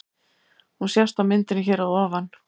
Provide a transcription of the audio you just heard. Hún sést á myndinni hér að ofan.